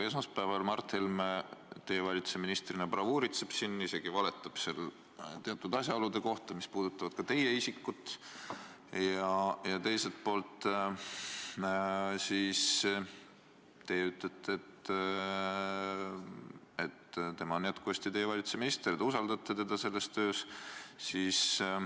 Esmaspäeval Mart Helme teie valitsuse ministrina bravuuritseb siin, isegi valetab teatud asjaolude kohta, mis puudutavad ka teie isikut, aga teie ütlete, et tema on jätkuvalt teie valitsuse minister ja te usaldate teda selles töös.